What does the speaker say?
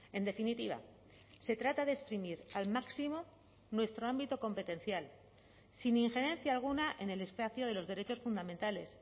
en definitiva se trata de exprimir al máximo nuestro ámbito competencial sin injerencia alguna en el espacio de los derechos fundamentales